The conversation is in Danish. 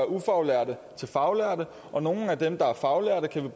ufaglærte til faglærte og nogle af dem der er faglærte kan vi